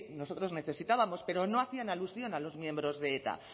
nosotros necesitábamos pero no hacían alusión a los miembros de eta